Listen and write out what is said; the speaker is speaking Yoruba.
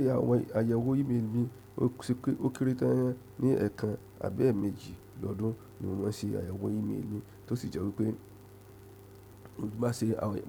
Se àwọn àyẹ̀wò ímélì mi ò kéré tán ní ẹẹkan àb mẹ́jì lọ́dún ni mo maa n ṣe àyẹ̀wò ímélì mi, tó sì jẹ́ wípé mo maa n